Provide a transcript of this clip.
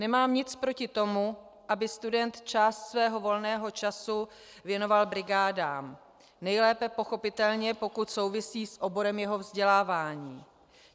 Nemám nic proti tomu, aby student část svého volného času věnoval brigádám, nejlépe pochopitelně, pokud souvisí s oborem jeho vzdělávání.